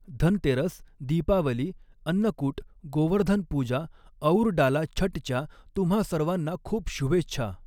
धनतेरस, दीपावली, अन्नकूट, गोवर्धन पूजा अऊर डाला छठच्या तुम्हा सर्वाना खूप शुभेच्छा.